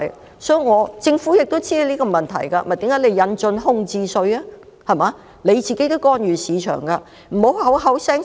其實，政府亦知道這個問題，這就是為何要引進空置稅的原因，政府自己亦干預市場。